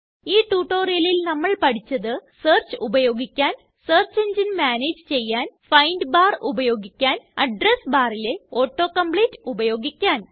ഈ tutorialല് നമ്മള് പഠിച്ചത് സെർച്ച് ഉപയോഗിക്കാൻ സെർച്ച് എങ്ങിനെ മാനേജ് ചെയ്യാൻ ഫൈൻഡ് ബാർ ഉപയോഗിക്കാൻ അഡ്രസ് barലെ ഓട്ടോ കോംപ്ലീറ്റ് ഉപയോഗിക്കാൻ